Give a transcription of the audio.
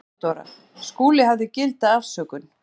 THEODÓRA: Skúli hafði gilda afsökun.